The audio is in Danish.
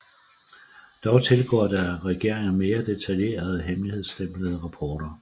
Dog tilgår der regeringen mere detaljerede og hemmeligstemplede rapporter